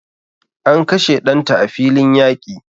An kashe danta a filin yaƙi